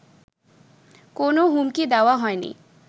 কোন হুমকি দেওয়া হয়নি